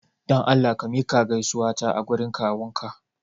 Dan Allah ka miƙa gaisuwata a gurin kawunka!